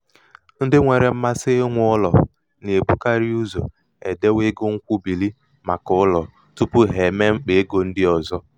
ndị nwère mmasị inwe ụlò nà-èbukarị ụzò èdewe egō ṅkwụbìrì màkà ụlọ̀ tupu ha emee mkpà egō ndị ọzọ.